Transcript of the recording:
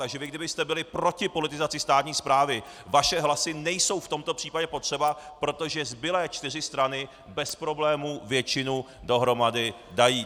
Takže vy kdybyste byli proti politizaci státní správy, vaše hlasy nejsou v tomto případě potřeba, protože zbylé čtyři strany bez problémů většinu dohromady dají.